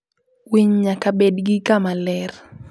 Winy nyaka bed gi kama ler.